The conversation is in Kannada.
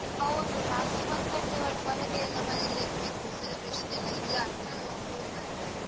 ಹೌದು, ರಾತ್ರಿ ಒಂದ್ ಗಂಟೆ ಒಳಗೆ ಎಲ್ಲಾ ಮನೆಯಲ್ಲಿ ಇರ್ಬೇಕು celebration ಎಲ್ಲ ಇಲ್ಲ ಅಂತಾ rule ಬರ್ತಾ ಇದೆ.